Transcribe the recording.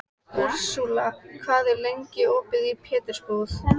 Úrsúla, hvað er lengi opið í Pétursbúð?